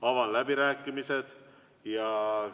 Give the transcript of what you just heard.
Avan läbirääkimised.